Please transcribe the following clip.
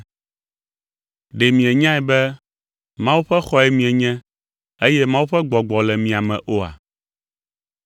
Ɖe mienyae be Mawu ƒe xɔe mienye, eye Mawu ƒe Gbɔgbɔ le mia me oa?